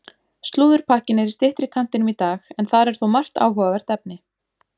Slúðurpakkinn er í styttri kantinum í dag en þar er þó margt áhugavert efni.